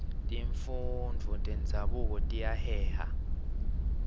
tifundvo tenzabuko tiyaheha